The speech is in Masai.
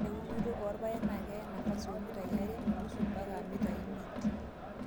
Ore eunoto oorpaek naakeya nafasi oomitai aree onusu mpaka mitai imiet.